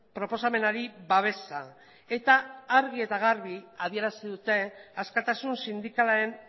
proposamenari babesa eta argi eta garbi adierazi dute askatasun sindikalaren